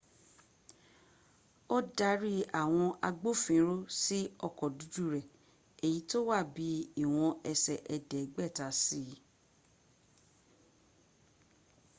ó darí àwọn agbófinró sí ọkọ̀ dúdú rẹ̀ èyí tó wa bí i ìwọ̀n ẹsẹ̀ ẹ̀ẹ́dẹ́gbẹ̀ta sí i